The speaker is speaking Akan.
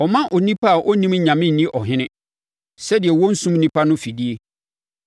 ɔmma onipa a ɔnnim Onyame nni ɔhene, sɛdeɛ wɔnnsum nnipa no mfidie.